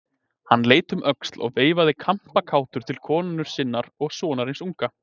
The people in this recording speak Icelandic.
Hann leit um öxl og veifaði kampakátur til konu sinnar og sonarins unga.